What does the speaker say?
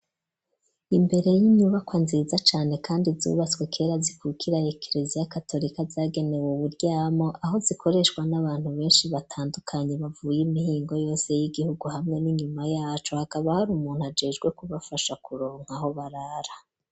Imbere y'inyubako nziza cane kandi zubatswe kera zikukiraye kereza y'a katolika yagenewe uburyamo .Aho zikoreshwa n'abantu benshi batandukanye mavuy'imihingo yose y'igihugu hamwe n'inyuma yacu hakaba hari umuntu ajejwe kubafasha kuronka aho barara.